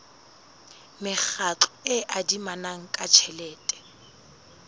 mekgatlo e adimanang ka tjhelete